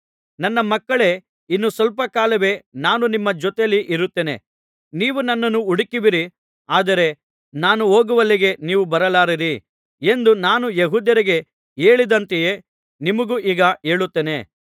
ನನ್ನ ಮಕ್ಕಳೇ ಇನ್ನು ಸ್ವಲ್ಪ ಕಾಲವೇ ನಾನು ನಿಮ್ಮ ಜೊತೆಯಲ್ಲಿ ಇರುತ್ತೇನೆ ನೀವು ನನ್ನನ್ನು ಹುಡುಕುವಿರಿ ಆದರೆ ನಾನು ಹೋಗುವಲ್ಲಿಗೆ ನೀವು ಬರಲಾರಿರಿ ಎಂದು ನಾನು ಯೆಹೂದ್ಯರಿಗೆ ಹೇಳಿದಂತೆಯೇ ನಿಮಗೂ ಈಗ ಹೇಳುತ್ತೇನೆ